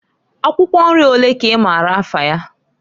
Akwukwo nri olee ka i maara afa ya?